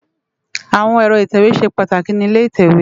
Awón èrò itèwé ṣé pàtákí ni ilé itèwé